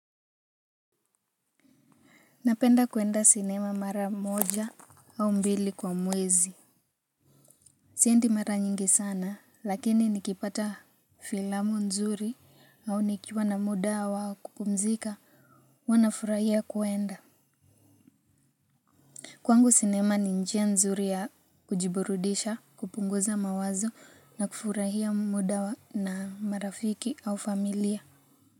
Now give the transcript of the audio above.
Napenda kwenda sinema mara moja au mbili kwa mwezi. Siendi mara nyingi sana lakini nikipata filamu nzuri au nikiwa na muda wa kupumzika huwa nafurahia kwenda. Kwangu sinema ni njia nzuri ya kujiburudisha kupunguza mawazo na kufurahia muda wa na marafiki au familia.